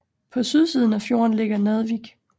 På sydsiden af fjorden ligger Naddvik